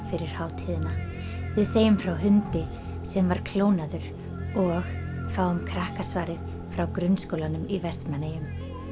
fyrir hátíðina við segjum frá hundi sem var klónaður og fáum Krakkasvarið frá grunnskólanum í Vestmannaeyjum